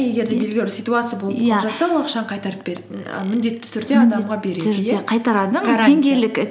егер де белгілі бір ситуация болып қалып жатса ол ақшаны қайтарып беріп і міндетті түрде